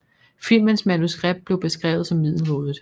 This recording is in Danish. Filmens manuskript blev beskrevet som middelmådigt